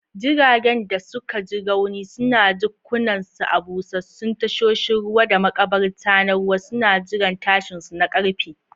Jiragen da suka ji rauni suna jikkunansu a busassun tasoshin ruwa da makabarta na ruwa, suna jiran tashinsu na ƙarfe.